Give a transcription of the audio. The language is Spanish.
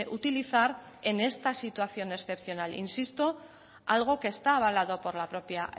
utilizar en esta situación excepcional insisto algo que está avalado por la propia